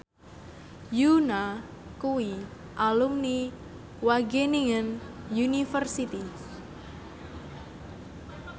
Yoona kuwi alumni Wageningen University